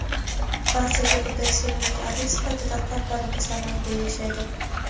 barchaga birdek sevimli adib sifatida qalblarimizda mangu yashaydi.